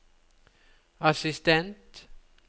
assistent